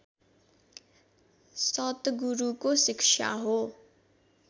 सतगुरूको शिक्षा हो